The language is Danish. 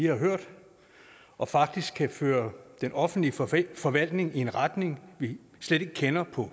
har hørt og faktisk kan føre den offentlige forvaltning forvaltning i en retning vi slet ikke kender på